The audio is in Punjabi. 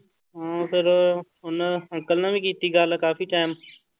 ਹਾਂ ਫਿਰ ਉਹਨੇ ਅੰਕਲ ਨਾਲ ਵੀ ਕੀਤੀ ਗੱਲ ਕਾਫ਼ੀ time